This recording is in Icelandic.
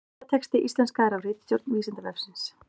Myndatexti íslenskaður af ritstjórn Vísindavefsins.